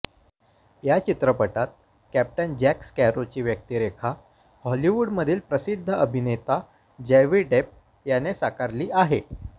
या चित्रपटात captain Jack स्कॅरोची व्यक्तीरेखा हॉलीवूडमधील प्रसिद्ध अभिनेता जॉवी डेप याने साकारली आहे